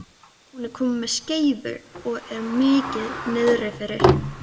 Hún er komin með skeifu og er mikið niðrifyrir.